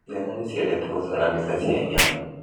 Ciana nĩciendete gũcora mbica cia nyamu